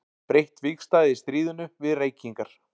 Breytt vígstaða í stríðinu við reykingar.